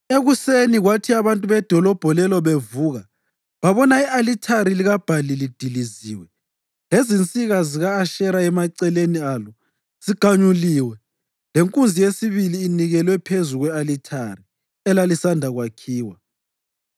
Ekuseni kwathi abantu bedolobho lelo bevuka babona i-alithari likaBhali lidiliziwe, lezinsika zika-Ashera emaceleni alo ziganyulwe lenkunzi yesibili inikelwe phezu kwe-alithari elalisanda kwakhiwa!